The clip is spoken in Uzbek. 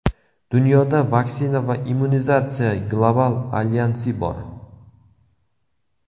Dunyoda Vaksina va immunizatsiya global alyansi bor.